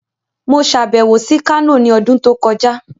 Mo ṣe àbẹ̀wò sí Kano ní ọdún tó kọjá.